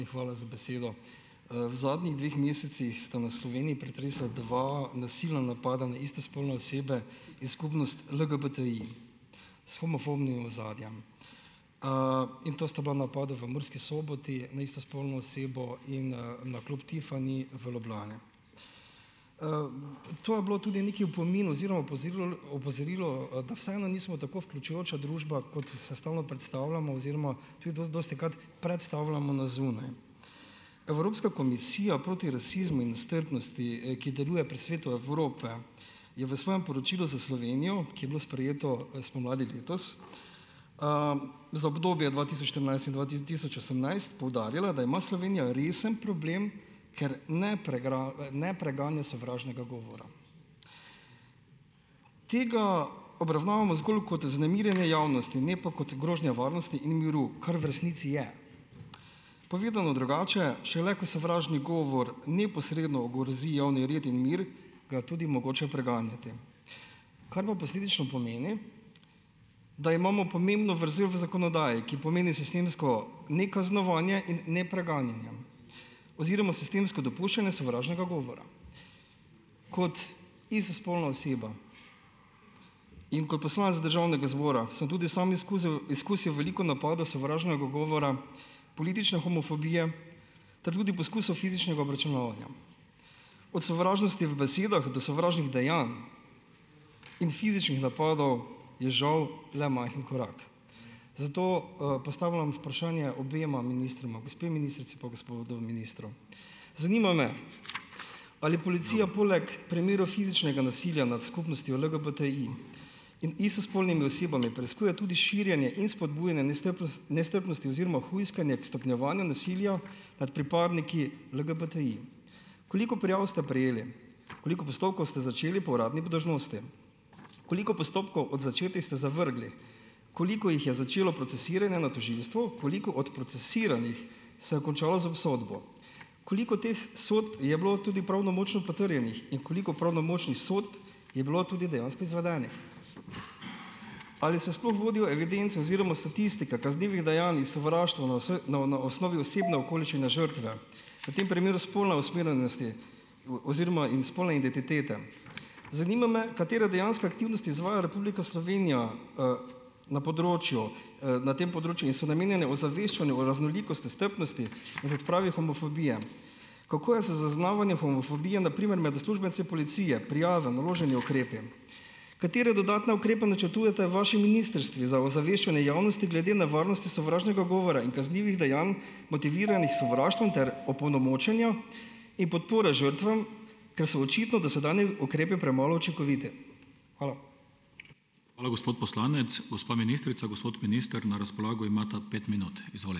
Hvala za besedo. v zadnjih dveh mesecih sta nas Sloveniji pretresla dva silna napada na istospolne osebe in skupnost LGBTI s homofobnim ozadjem. in to sta bila napada v Murski Soboti na istospolno osebo in, na klub Tiffany v Ljubljani. to je bilo tudi neki opomin oziroma opozorilo, da vseeno nismo tako vključujoča družba kot se stalno predstavljamo oziroma dostikrat predstavljamo na zunaj. Evropska komisija proti rasizmu in nestrpnosti, ki deluje pri Svetu Evrope je v svojem poročilu za Slovenijo, ki je bilo sprejeto spomladi letos, za obdobje dva tisoč štirinajst in dva tisoč osemnajst poudarjala, da ima Slovenija resen problem, ker ne ne preganja sovražnega govora. Tega obravnavamo zgolj kot vznemirjenje javnosti, ne pa kot grožnjo varnosti in miru, kar v resnici je. Povedano drugače, šele ko sovražni govor neposredno ogrozi javni red in mir, ga je tudi mogoče preganjati. Kar pa posledično pomeni, da imamo pomembno vrzel v zakonodaji, ki pomeni sistemsko nekaznovanje in nepreganjanje. Oziroma sistemsko dopuščanje sovražnega govora. Kot istospolna oseba in kot poslanec državnega zbora sem tudi sam izkusil veliko napadov sovražnega govora, politične homofobije ter tudi poskusov fizičnega obračunavanja. Od sovražnosti v besedah do sovražnih dejanj in fizičnih napadov, je žal le majhen korak. Zato, postavljam vprašanje obema ministroma, gospe ministrici pa gospodu ministru. Zanima me, ali policija poleg primerov fizičnega nasilja nad skupnostjo LGBTI in istospolnimi osebami preiskuje tudi širjenje in spodbujanje nestrpnosti oziroma hujskanje k stopnjevanju nasilja nad pripadniki LGBTI? Koliko prijav ste prejeli? Koliko postopkov ste začeli po uradni dolžnosti? Koliko postopkov od začetih ste zavrgli? Koliko jih je začelo procesiranje na tožilstvu, koliko od procesiranih se je končalo z obsodbo? Koliko teh sodb je bilo tudi pravnomočno potrjenih in koliko pravnomočnih sodb je bilo tudi dejansko izvedenih? Ali se sploh vodijo evidence oziroma statistike kaznivih dejanj in sovraštva na na, na osnovi osebne okoliščine žrtve? V tem primeru spolna usmerjenost oziroma in spolna identiteta. Zanima me, katera dejanska aktivnost izvaja Republika Slovenija, na področju, na tem področju in so namenjene ozaveščanju raznolikosti, strpnosti in odpravi homofobije ? Kako je z zaznavanjem homofobije na primer med uslužbenci policije, prijave, naloženi ukrepi? Katere dodatne ukrepe načrtujeta vaši ministrstvi za ozaveščanje javnosti glede na varnosti sovražnega govora in kaznivih dejanj, motiviranih sovraštvom ter opolnomočenju in podpore žrtvam, ker so očitno dosedanji ukrepi premalo učinkoviti? Hvala.